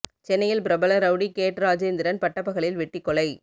சென்னையில் பிரபல rowdy gate Rajendran பட்டபகலில் வெட்டிக்கொலை